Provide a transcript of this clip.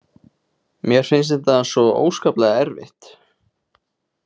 Mér finnst þetta svo óskaplega erfitt.